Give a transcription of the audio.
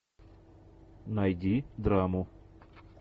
найди драму